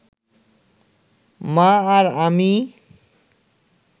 মা আর আমি